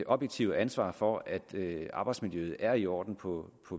objektive ansvar for at arbejdsmiljøet er i orden på